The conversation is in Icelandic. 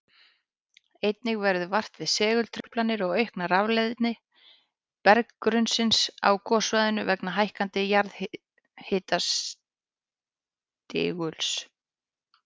Einnig verður vart við segultruflanir og aukna rafleiðni berggrunnsins á gossvæðinu vegna hækkandi jarðhitastiguls.